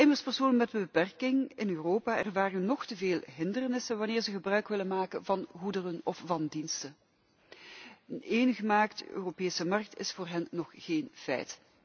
Immers, personen met een beperking in Europa ervaren nog te veel hindernissen wanneer ze gebruik willen maken van goederen of van diensten. Een eengemaakte Europese markt is voor hen nog geen feit.